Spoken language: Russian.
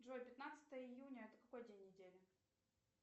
джой пятнадцатое июня это какой день недели